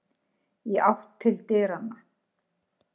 Í áttina til dyranna.